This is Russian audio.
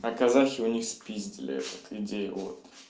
а казахи у них спиздили этот идею вот